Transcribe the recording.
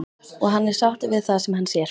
Og hann er sáttur við það sem hann sér.